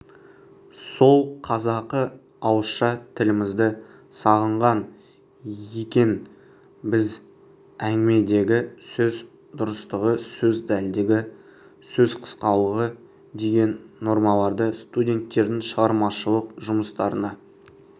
сол қазақы ауызша тілімізді сағынған екенбізәңгімедегі сөз дұрыстығы сөз дәлдігі сөз қысқалығы деген нормаларды студенттердің шығармашылық жұмыстарына